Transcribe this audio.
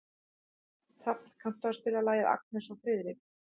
Hrafn, kanntu að spila lagið „Agnes og Friðrik“?